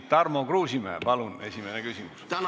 Tarmo Kruusimäe, palun esimene küsimus!